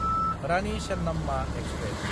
Rani Chennamma express